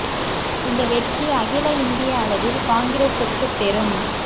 இந்த வெற்றி அகில இந்திய அளவில் காங்கிரசுக்கு பெரும்